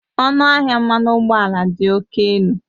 Ọnụahịa mmanụ ụgbọala dị oke elu